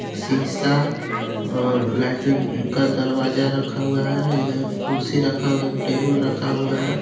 शीशा और लेट्रिंन का दरवाज़ा रखा हुआ है इधर कुर्सी रखा हुआ है एक टेबल रखा हुआ है.